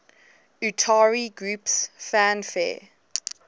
utari groups fanfare